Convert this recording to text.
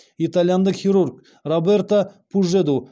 итальяндық хирург роберто пужеду